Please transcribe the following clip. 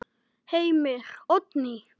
Heimir: Oddný?